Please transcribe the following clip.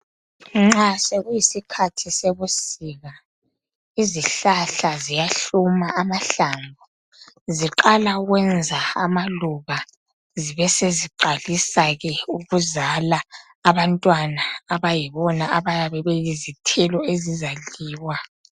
Nxa sekuyisikhathi sebusika izihlahla ziyahluma amahlamvu ,ziqala ukwenza amaluba zibe seziqalisa ke ukuzala abantwana abayibona abayabe beyizithelo ezizadliwa.